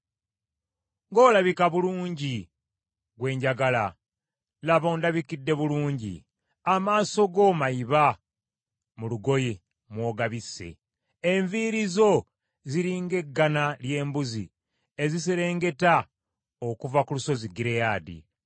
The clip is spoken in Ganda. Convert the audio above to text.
Ng’olabika bulungi, gwe njagala, laba ondabikidde bulungi. Amaaso go mayiba mu lugoye mw’ogabisse. Enviiri zo ziri ng’eggana ly’embuzi eziserengeta okuva ku lusozi Gireyaadi.